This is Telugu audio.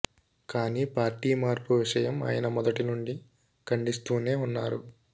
కానీ పార్టీ మార్పు విషయం ఆయన మొదటి నుండి ఖండిస్తూనే ఉన్నారు